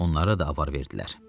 Onlara da avar verdilər.